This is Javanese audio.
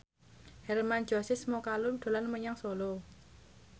Hermann Josis Mokalu dolan menyang Solo